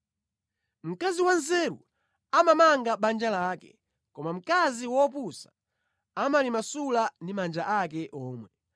Mkazi wanzeru amamanga banja lake, koma mkazi wopusa amalimasula ndi manja ake omwe.